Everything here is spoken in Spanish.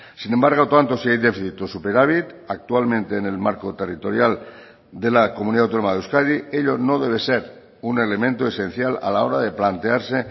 sin embargo tanto si hay déficit o superávit actualmente en el marco territorial de la comunidad autónoma de euskadi ello no debe ser un elemento esencial a la hora de plantearse